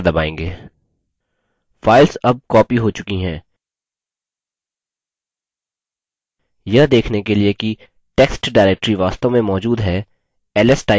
files अब copied हो चुकी है यह देखने के लिए कि टेक्स्ट directory वास्तव में मौजूद है ls type करें और enter दबायें